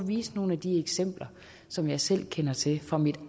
vise nogle af de eksempler som jeg selv kender til fra mit